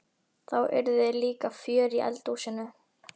Þá yrði líka fjör í eldhúsinu!